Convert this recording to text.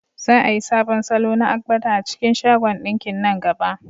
Za a yi sabon salo na agbada a cikin shagon ɗinkin nan gaba.